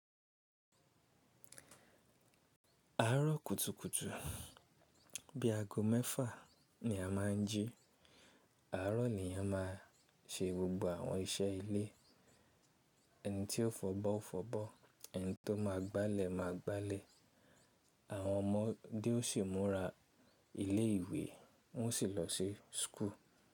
Àárọ̀ kùtùkùtù bí aago mẹ́fà ni a máa ń jí. Àárọ̀ lèèyàn máa ṣe gbogbo àwọn iṣẹ́ ilé. Ẹni tí ó fọ̀bọ́ ó fọ̀bọ́, ẹni tó ma gbálẹ̀ máa gbálẹ̀. Àwọn ọmọ dé o sì múra ilé ìwé wọ́n sì lọ sí school.